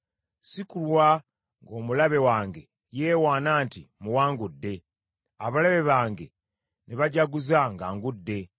Si kulwa ng’omulabe wange yeewaana nti, “Mmuwangudde;” abalabe bange ne bajaguza nga ngudde.